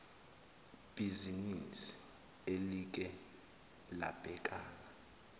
bhizinisi elike labhekana